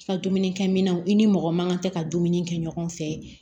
I ka dumuni kɛmɛnw i ni mɔgɔ mankan tɛ ka dumuni kɛ ɲɔgɔn fɛ